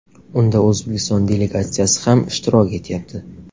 Unda O‘zbekiston delegatsiyasi ham ishtirok etyapti.